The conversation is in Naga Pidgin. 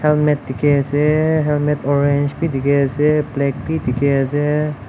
helmet dekhi ase helmet orange bi dekhi ase black bi dekhi ase.